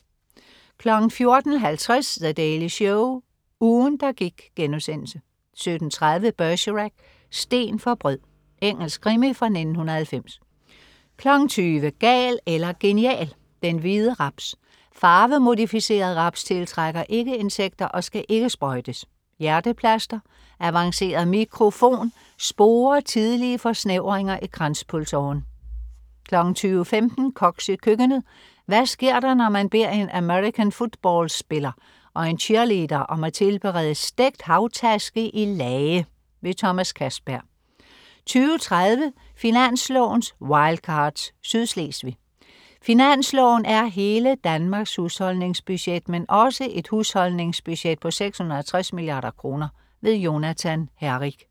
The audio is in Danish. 14.50 The Daily Show, ugen der gik* 17.30 Bergerac: Sten for brød. Engelsk krimi fra 1990 20.00 Gal eller genial. Den Hvide Raps: Farvemodificeret raps tiltrækker ikke insekter og skal ikke sprøjtes. Hjerteplaster: Avanceret mikrofon sporer tidlige forsnævringer i kranspulsåren 20.15 Koks i køkkenet. Hvad sker der, når man beder en american football-spiller og en cheerleader om at tilberede "Stegt havtaske i lage"? Thomas Castberg 20.30 Finanslovens Wildcards. Sydslesvig. Finansloven er "hele Danmarks husholdningsbudget", men også et husholdningsbudget på 660 milliarder kroner. Jonathan Herrik